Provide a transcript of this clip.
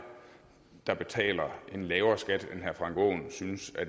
der betaler en lavere skat end herre frank aaen synes